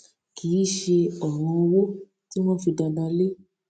kì í ṣe òràn owó tí wón fi dandan lé